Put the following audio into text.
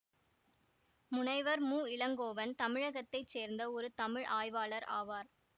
முனைவர் மு இளங்கோவன் தமிழகத்தை சேர்ந்த ஒரு தமிழ் ஆய்வாளர் ஆவார்